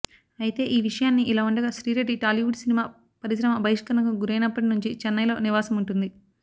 అయితే ఈ విషయాన్ని ఇలా ఉండగా శ్రీరెడ్డి టాలీవుడ్ సినిమా పరిశ్రమ బహిష్కరణకు గురైనప్పటి నుంచి చెన్నైలో నివాసముంటోంది